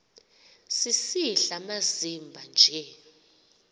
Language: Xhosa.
sisidl amazimba nje